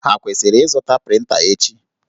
Ha kwesịrị ịzụta prịnta echi?